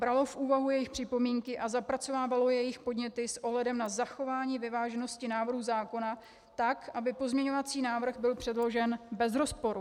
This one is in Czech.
Bralo v úvahu jejich připomínky a zapracovávalo jejich podněty s ohledem na zachování vyváženosti návrhu zákona tak, aby pozměňovací návrh byl předložen bez rozporu.